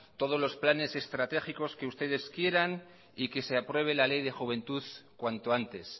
todos los planes estratégicos que ustedes quieran y que se apruebe la ley de juventud cuanto antes